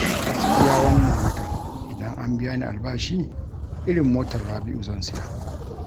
Gaskiya wannan watan idan an biya ni albashi irin motar Rabi'u zan siya